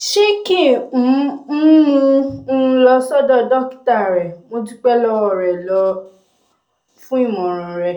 ṣé kí um n mú un um lọ sọ́dọ̀ dókítà rẹ̀? mo dúpẹ́ lọ́wọ́ rẹ lọ́wọ́ rẹ um fún ìmọ̀ràn rẹ